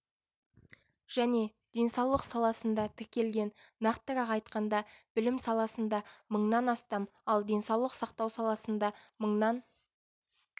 және денсаулық саласында тіркелген нақтырақ айтқанда білім саласында мыңнан астам ал денсаулық сақтау саласында мыңнан